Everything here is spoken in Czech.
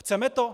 Chceme to?